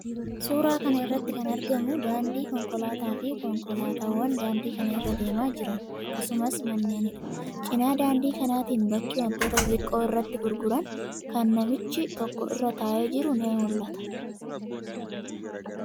Suuraa kana irratti kan argamu daandii konkolaataafi konkolaataawwan daandii kana irra deemaa jiran, akkasumas manneenidha. Cina daandii kanaatiin bakki wantoota xixiqqoo irratti gurguran kan namichi tokko irra taa'ee jiru ni mul'ata.